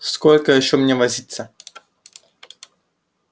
сколько ещё мне возиться